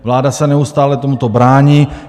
Vláda se neustále tomuto brání.